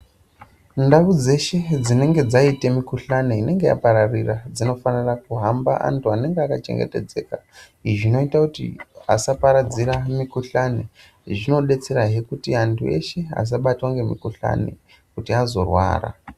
Ndau dzeshe dzinenge dzaite mikhuhlani inenge yapararira, dzinofanira kuhamba anhu anenge akachengetedzeka. Izvi zvinoita kuti asaparadzira mikhuhlani. Izvi zvinodetserahe kuti antu eshe asabatwa ngemukhuhlani, kuti azorwara.